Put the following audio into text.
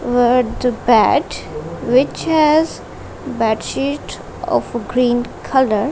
which has bed sheet of a green colour.